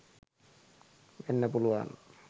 වෙන්න පුළුවන්